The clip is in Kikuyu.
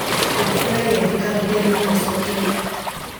ongerera gĩathĩ karenda-inĩ na ũcokere